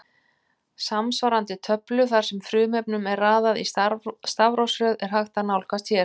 Samsvarandi töflu þar sem frumefnunum er raðað í stafrófsröð er hægt að nálgast hér.